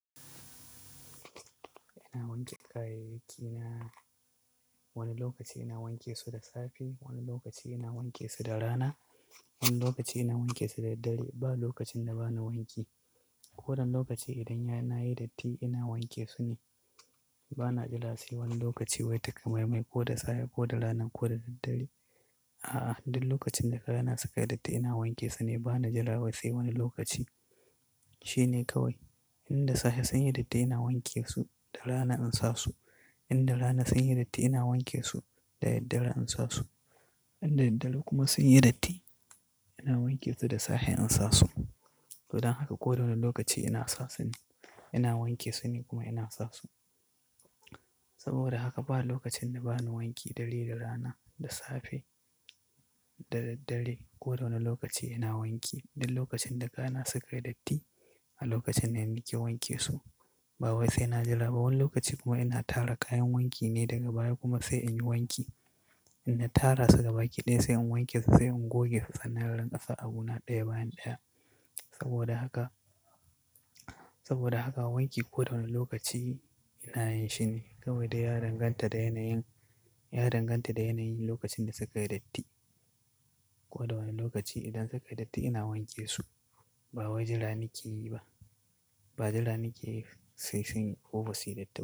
Ina wanke kayayyaki na, wani lokaci ina wanke su da safe, wani lokaci ina wanke su da rana, wani lokaci ina wanke su da daddare. Ba lokacin da ba na wanki. Ko wanne lokaci idan yana yi datti ina wanke su ne. Ba na jira sai wani lokaci wai takamaimai ko da safe ko da rana ko da daddare. A'a, duk lokacin da kayana suka yi datti ina wanke su ne. Ba na jillawa sai wani lokaci. Shi ne kawai. In da safe sun yi datti ina wanke su da rana in sa su. In da rana sun yi datti ina wanke su da daddare in sa su. In da daddare kuma sun yi datti ina wanke su da safe in sa su. Don haka kowane lokaci ina sa su ne, ina wanke su ne kuma ina sa su. Saboda haka ba lokacin da ba na wanki da daddare, da rana, da safe, da daddare. Ko wane lokaci ina wanki. Duk lokacin da kayana suka yi datti, a lokacin ne nake wanke su. Ba wai sai na jira. Ba wani lokaci kuma ina tara kayan wanki ne daga baya kuma sai in yi wanki. In na tara su gaba ɗaya sai in wanke su sai in goge su sannan in rinƙa sa abuna ɗaya bayan ɗaya. Saboda haka, saboda haka wanki ko da wane lokaci ina yin shi ne. Kawai dai ya danganta da yanayin, ya danganta da yanayin lokacin da suka yi datti. Ko da wane lokaci idan suka yi datti ina wanke su. Ba wai jira nake yi ba. Ba jira nake yi sai sun yi koba suyi datti ba.